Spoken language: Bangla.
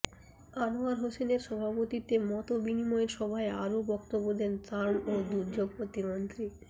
আনোয়ার হোসেনের সভাপতিত্বে মতবিনিময় সভায় আরো বক্তব্য দেন ত্রাণ ও দুর্যোগ প্রতিমন্ত্রী ডা